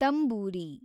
ತಂಬೂರಿ